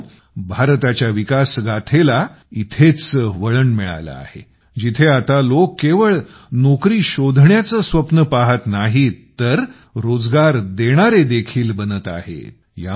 मित्रांनो भारताच्या विकास गाथेला इथेच वळण मिळालं आहे जिथे आता लोक केवळ नोकरी शोधण्याचे स्वप्न पाहत नाही तर रोजगार देणारे देखील बनत आहेत